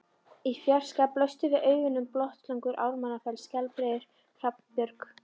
Í fjarska blöstu við augum Botnssúlur, Ármannsfell, Skjaldbreiður, Hrafnabjörg